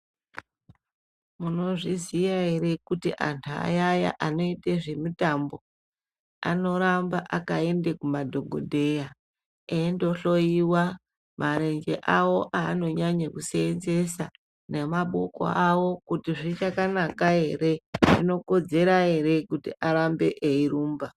Munozviziva ere kuti antu ayani anoita zvemutambo anoramba akaenda kumadhokodheya eindohloiwa marenje awo avanonyanga kusevenzesa nemaboko awo kuti zvichakanaka ere zvokodzera ere kuti varambe veirumba.